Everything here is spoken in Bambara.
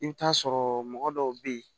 I bɛ t'a sɔrɔ mɔgɔ dɔw bɛ yen